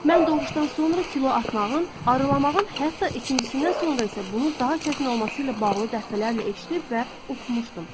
Mən doğuşdan sonra kilo atmağın, arılamağın hətta ikincisindən sonra isə bunun daha çətin olması ilə bağlı dəfələrlə eşidib və oxumuşdum.